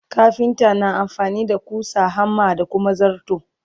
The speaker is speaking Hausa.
kafinta na amfani da ƙusa, hammer da Kuma zarto.